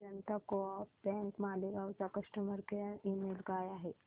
जनता co-op bank Malegaon चा customer care email काय आहे